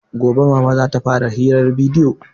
Gobe mama zata fara hirar bidiyo